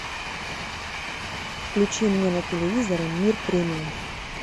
включи мне на телевизоре мир премиум